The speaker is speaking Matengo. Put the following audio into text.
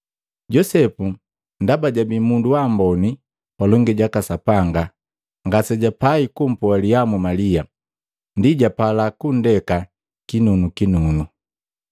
Josepu ndaba jabii mundu waamboni palongi jaka Sapanga, ngasejapai kumpoalihamu Malia, ndi japala kundeka kinunukinunu.